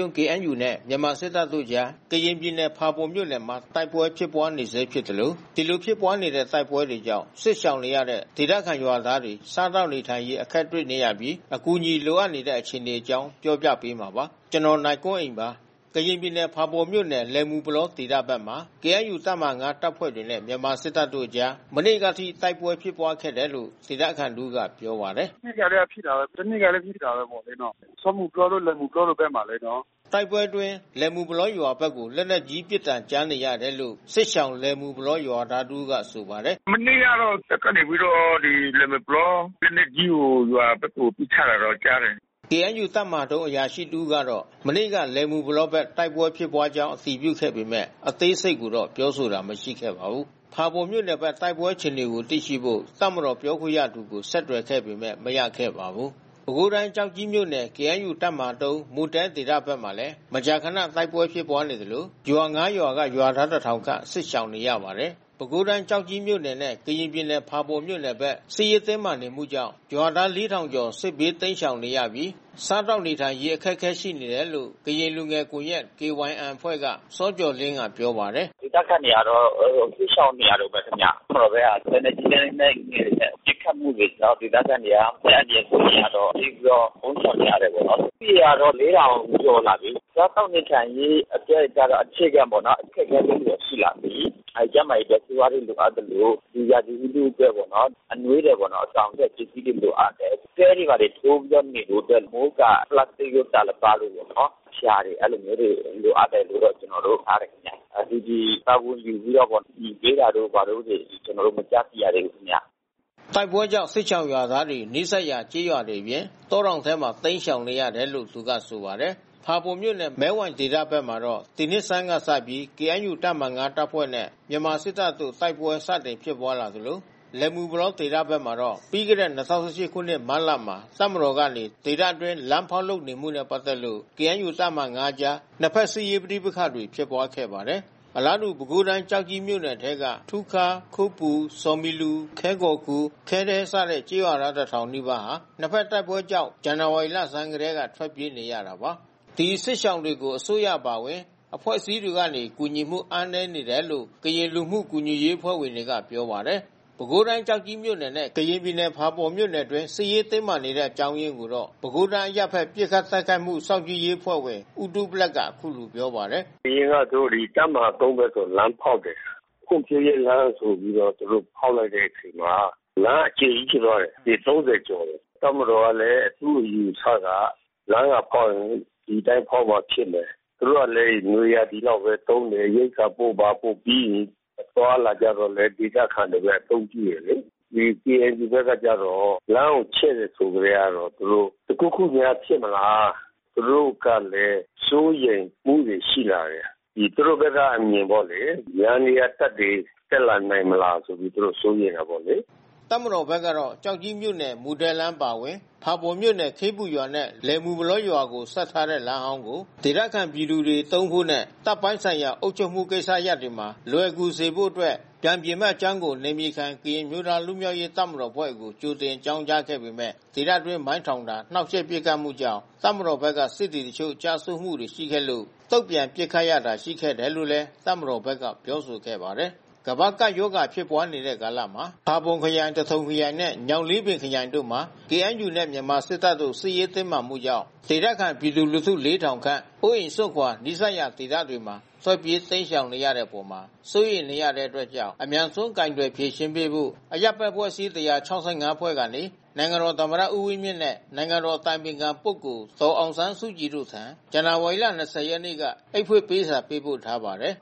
ုံး နဲ့ မြန်မာစစ်တပ်တို့အကြား ကရင်ပြည်နယ် ဖာပွန်မြို့နယ်မှာ တိုက်ပွဲဖြစ်ပွါးနေဆဲဖြစ်သလို ဒီလိုဖြစ်ပွါးနေတဲ့ တိုက်ပွဲတွေကြောင့် စစ်ရှောင်နေရတဲ့ ဒေသခံရွာသားတွေ စားသောက်နေထိုင်ရေး အခက်တွေ့နေရပြီး အကူအညီ လိုအပ်နေပါတယ်။ အပြည့်အစုံကို နိုင်ကွန်းအိန် တင်ပြပေးထားပါတယ်။ ကရင်ပြည်နယ် ဖာပွန်မြို့နယ် လယ်မူပလောဒေသဘက်မှာ KNU တပ်မဟာ ၅ တပ်ဖွဲ့နဲ့ မြန်မာစစ်တပ်တို့အကြား မနေ့ကအထိ တိုက်ပွဲဖြစ်ပွါးခဲ့တယ်လို့ ဒေသခံတဦးက ပြောပါတယ်။ “မနေ့ကလည်း ဖြစ်တယ်။ ဟိုတနေ့ကလည်း ဖြစ်တာပဲပေါ့လေနော်။ စောမူပလောတို့ လယ်မူပလောတို့ဘက်မှာ။” တိုက်ပွဲအတွင်း လယ်မူပလောရွာဘက်ကို လက်နက်ကြီးပစ်သံ ကြားနေရတယ်လို့ စစ်ရှောင် လယ်မူပလောရွာသားတဦးက ဆိုပါတယ်။ “မနေ့ကတော့ တပ်ကနေပြီးတော့ ဒီ လယ်မူပလော လက်နက်ကြီးကို ရွာဘက်ကို ပစ်ခတ်တာတော့ ကြားတယ်။” KNU တပ်မဟာ ၃ အရာရှိတဦးကတော့ မနေ့က လယ်မူပလောဘက် တိုက်ပွဲဖြစ်ကြောင်း အတည်ပြုခဲ့ပေမယ့် အသေးစိတ်ကို ပြောဆိုတာ မရှိခဲ့ပါဘူး။ ဖာပွန်မြို့နယ်ဘက် တိုက်ပွဲအခြေအနေကို သိရှိဖို့ တပ်မတော်ပြောခွင့်ရသူကို ဆက်သွယ်ခဲ့ပေမယ့် မရခဲ့ပါဘူး။ ပဲခူးတိုင်း ကျောက်ကြီးမြို့နယ် KNU တပ်မဟာ ၃ မူသဲဒေသဘက်မှာလည်း မကြာခန တိုက်ပွဲဖြစ်ပွါးနေသလို ရွာ ၅ ရွာက ရွာသား ၁,၀၀၀ ခန့် စစ်ရှောင်နေရပါတယ်။ ပဲခူးတိုင်း ကျောက်ကြီးမြို့နယ်နဲ့ ကရင်ပြည်နယ် ဖာပွန်မြို့နယ်ဘက် စစ်ရေးတင်းမာနေမှုကြောင့် ရွာသား ၄,၀၀၀ ကျော် စစ်ဘေးတိမ်းရှောင်နေရပြီး စားသောက်နေထိုင်ရေး အခက်အခဲ ရှိနေတယ်လို့ ကရင်လူငယ်ကွန်ရက် အဖွဲ့က စောကျော်လင်းဦးက ပြောပါတယ်။ “ဒေသခံတွေကတော့ စစ်ရှောင်နေရတုန်းပဲခင်ဗျ။ တပ်မတော်ဘက်က လက်နက်ကြီး လက်နက်ငယ်တွေနဲ့ ပစ်ခတ်မှုတွေကြောင့် ဒေသခံတွေက အသက်အန္တရာယ် စိုးရိမ်ရတော့ ပြေးပြီးတော့ ပုန်းရှောင်နေရတာပေါ့နော်။ ဦးရေကတော့ ၄,၀၀၀ ကျော်လာပြီ။ စားသောက်နေထိုင်ရေးကတော့ အခြေခံပေါ့နော် အခက်အခဲလေးတွေ ရှိလာပြီ။ ကျန်းမာရေးအတွက် ဆေးဝါးတွေ လိုအပ်သလို ဒီရာသီဥတုအတွက်ပေါ့နော်၊ အနွေးထည်ပေါ့နော် စောင်အတွက် ပစ္စည်းလိုအပ်တယ်။ တဲတွေဘာတွေထိုးပြီး နေဖို့အတွက် အမိုးအကာ ပလတ်စတစ်တို့ တာလပတ်တို့ပေါ့နော်၊ ဖျာတွေ အဲဒီလိုမျိုးတွေ လိုအပ်တယ်လို့တော့ ကျေနာ်တို့ ကြားတယ်ခင်ဗျ။ IDP တာဝန်ယူပြီးတော့ အကူအညီပေးတာတို့ ဘာတို့ ကျနော်တို့ မကြားသိရသေးဘူးခင်ဗျ။” တိုက်ပွဲကြောင့် စစ်ရှောင်ရွာသားတွေဟာ နီးစပ်ရာ ကျေးရွာတွေအပြင် တောတောင်ထဲမှာ ရှောင်တိမ်းနေရတယ်လို့ သူကဆိုပါတယ်။ ဖာပွန်မြို့နယ် မဲဝိုင်ဒေသဘက်မှာတော့ ဒီနှစ်ဆန်းကစပြီး KNU တပ်မဟာ ၅ တပ်ဖွဲ့နဲ့ မြန်မာစစ်တပ်တို့ တိုက်ပွဲစတင်ဖြစ်ပွါးလာသလို လယ်မူပလောဒေသဘက်မှာတော့ ပြီးခဲ့တဲ့ ၂၀၁၈ ခုနှစ် မတ်လမှာ တပ်မတော်ကနေ ဒေသတွင်း လမ်းဖောက်လုပ်နေမှုနဲ့ ပတ်သက်လို့ KNU တပ်မဟာ ၅ အကြား နှစ်ဖက် စစ်ရေးပဋိပက္ခတွေ ဖြစ်ပွါးခဲ့ပါတယ်။ အလားတူ ပဲခူးတိုင်း ကျောက်ကြီးမြို့နယ်ထဲက ထူးခါး၊ ခိုးပူ၊ ဆော်မီလူ၊ ခဲကော်ခူ၊ ခဲဒဲ စတဲ့ ကျေးရွာသား ၁,၀၀၀ နီးပါးဟာ နှစ်ဖက်တိုက်ပွဲတွေကြောင့် ဇန်နဝါရီလဆန်းကတည်းက ထွက်ပြေးနေရတာပါ။ ဒီစစ်ရှောင်တွေကို အစိုးရအပါအဝင် အဖွဲ့အစည်းတွေကနေ ကူညီမှု အားနည်းနေတယ်လို့ ကရင်လူမှုကူညီရေးအဖွဲ့ဝင်တွေက ပြောပါတယ်။ ပဲခူးတိုင်း ကျောက်ကြီးမြို့နယ်နဲ့ ကရင်ပြည်နယ် ဖာပွန်မြို့နယ်အတွင်း စစ်ရေးတင်းမာနေရတဲ့ အကြောင်းအရင်းကိုတော့ ပဲခူးတိုင်း အရပ်ဘက် ပစ်ခတ်တိုက်ခိုက်မှု စောင့်ကြည့်ရေးအဖွဲ့ဝင် ဦးတူးဘလက်က အခုလိုပြောပါတယ်။ “သူတို့ အရင် တပ်မဟာ ၃ ဘက်ကို လမ်းဖောက်တယ်။ ဖွံ့ဖြိုးရေးလမ်းဆိုပြီးတော့ သူတို့ဖောက်လိုက်တဲ့အချိန်မှာ လမ်းအကျယ်ကြီး ဖြစ်သွားတယ်။ ပေ ၃၀ ကျော်တယ်။ တပ်မတော်ကလည်း သူ့အယူအဆက လမ်းကဖောက်ရင် ဒီအတိုင်းဖောက်မှ ဖြစ်မယ်။ သူတို့ကလည်း နွေရာသီလောက်ပဲ သုံးမယ်။ ရိက္ခာပို့ ဘာပို့ ပြီးရင် အသွားအလာကြတော့လည်း ဒေသခံတွေ အသုံးပြုတယ်လေ။ ဒီ KNU ဘက်ကကျတော့ လမ်းကိုချဲ့တယ် ဆိုကတည်းကတော့ သူတို့ တခုခုများဖြစ်မလား။ သူတို့ကလည်း စိုးရိမ်မှုတွေ ရှိလာတယ်။ ဒီလောက်ကျယ်တဲ့လမ်းဆိုရင် သူတို့ဘက်က အမြင်ပေါ့လေ။ ယန္တရားတပ်တွေ တက်လာနိုင်မလားဆိုပြီး သူတို့ စိုးရိမ်တာပေါ့လေ။” တပ်မတော်ဘက်ကတော့ ကျောက်ကြီးမြို့နယ် မူသဲလမ်း အပါအဝင် ဖာပွန်မြို့နယ် ခေးပူရွာနဲ့ လွယ်မူပလောရွာကို ဆက်ထားတဲ့ လမ်းဟောင်းကို ဒေသခံပြည်သူတွေ သုံးဖို့နဲ့ တပ်ပိုင်းဆိုင်ရာ အုပ်ချုပ်မှုကိစ္စရပ်တွေမှာ လွယ်ကူစေဖို့အတွက် ပြန်ပြင်မယ့်အကြောင်းကို နယ်မြေခံ ကရင်အမျိုးသား လွတ်မြောက်ရေး တပ်မတော်အဖွဲ့ကို ကြိုတင်အကြောင်းကြားခဲ့ပေမယ့် ဒေသတွင်း မိုင်းထောင်တာ၊ နှောင့်ယှက်ပစ်ခတ်မှုကြောင့် တပ်မတော်ဘက်က စစ်သည်တချို့ ကျဆုံးတာတွေရှိခဲ့လို့ တုံ့ပြန်ပစ်ခတ်ရတာ ရှိခဲ့တယ်လို့လည်း တပ်မတော်ဘက်က ပြောဆိုခဲ့ပါတယ်။ ကမ္ဘာ့ကပ်ရောဂါ ဖြစ်ပွားနေတဲ့ကာလမှာ ဖာပွန်ခရိုင်၊ သထုံခရိုင်နဲ့ ညောင်လေးပင်ခရိုင်တို့မှာ KNU နဲ့ မြန်မာစစ်တပ်တို့ စစ်ရေးတင်းမာမှုကြောင့် ဒေသခံ ပြည်သူလူထု ၄,၀၀၀ ခန့် အိုးအိမ်စွန့်ခွာ နီးစပ်ရာ ဒေသတွေမှာ ထွက်ပြေး တိမ်းရှောင်နေရတဲ့အပေါ် စိုးရိမ်နေရတဲ့အတွက်ကြောင့် အမြန်ဆုံး ကိုင်တွယ်ဖြေရှင်းပေးဖို့ အရပ်ဘက်အဖွဲ့အစည်း ၁၆၅ ဖွဲ့ကနေ နိုင်ငံတော်သမ္မတ ဦးဝင်းမြင့်နဲ့ နိုင်ငံတော်အတိုင်ပင်ခံပုဂ္ဂိုလ် ဒေါ်အောင်ဆန်းစုကြည်တို့ထံ ဇန်နဝါရီလ ၂၀ ရက်နေ့က အိတ်ဖွင့်ပေးစာ ပေးပို့ထားပါတယ်